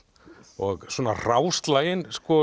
og svona